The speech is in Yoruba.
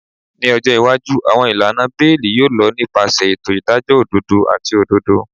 Ni ọjọ iwaju, awọn ilana beeli yoo lọ nipasẹ eto idajọ ododo ati ododo.